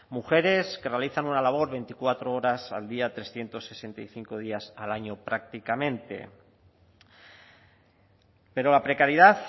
mujeres que realizan una labor veinticuatro horas al día trescientos sesenta y cinco días al año prácticamente pero la precariedad